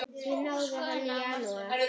Því náði hann í janúar.